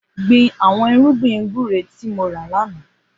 Gbin awọn irùgbin gbùré ti mò rá lànà